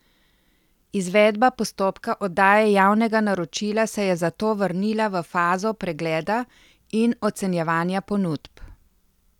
Izvedba postopka oddaje javnega naročila se je zato vrnila v fazo pregleda in ocenjevanja ponudb.